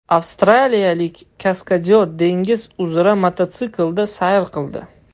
Avstraliyalik kaskadyor dengiz uzra mototsiklda sayr qildi.